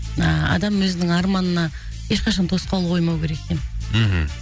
а адам өзінің арманына ешқашан тосқауыл қоймау керек екен мхм